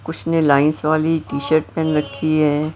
उसने लाइंस वाली टी-शर्ट पहन रखी है।